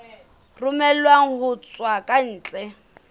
romellwang ho tswa ka ntle